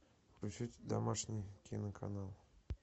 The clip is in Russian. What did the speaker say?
включить домашний киноканал